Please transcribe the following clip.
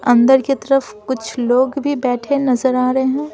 अंदर की तरफ कुछ लोग भी बैठे नजर आ रहे हैं।